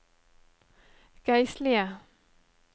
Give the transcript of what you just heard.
geistlige